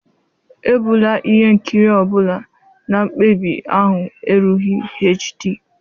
Ebula ihe nkiri ọ bụla na mkpebi ahụ erughị HD.